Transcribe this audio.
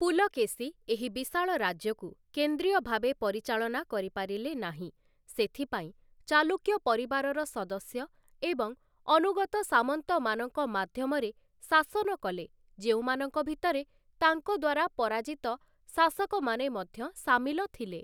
ପୁଲକେଶୀ, ଏହି ବିଶାଳ ରାଜ୍ୟକୁ କେନ୍ଦ୍ରୀୟ ଭାବେ ପରିଚାଳନା କରିପାରିଲେ ନାହିଁ, ସେଥିପାଇଁ ଚାଲୁକ୍ୟ ପରିବାରର ସଦସ୍ୟ ଏବଂ ଅନୁଗତ ସାମନ୍ତମାନଙ୍କ ମାଧ୍ୟମରେ ଶାସନ କଲେ, ଯେଉଁମାନଙ୍କ ଭିତରେ ତାଙ୍କ ଦ୍ୱାରା ପରାଜିତ ଶାସକମାନେ ମଧ୍ୟ ସାମିଲ ଥିଲେ ।